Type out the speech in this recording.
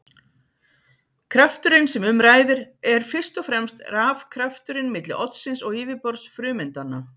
Krafturinn sem um ræðir er fyrst og fremst rafkrafturinn milli oddsins og yfirborðs frumeindanna.